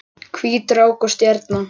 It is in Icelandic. Hvít rák og stjarna